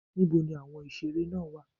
Níboni àwọn ìseré náà wà?